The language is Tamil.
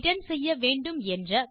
ரிட்டர்ன் செய்ய வேண்டும் என்ற